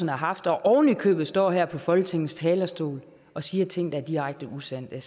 har haft og ovenikøbet står her på folketingets talerstol og siger ting der er direkte usande